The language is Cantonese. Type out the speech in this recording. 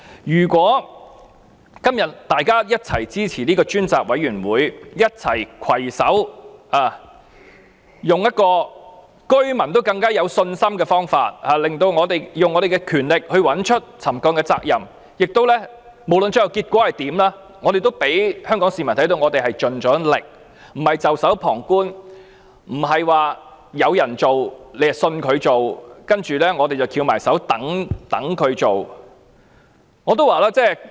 如果今天大家一起支持成立專責委員會，攜手採用一個令居民更有信心的方法，以我們的權力找出沉降的責任，不論最後結果如何，我們也讓香港市民看到我們已經盡力，不是袖手旁觀，不是說有人做，便信他會做，然後我們便"翹埋雙手"等別人來做。